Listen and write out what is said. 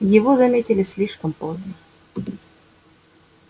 его заметили слишком поздно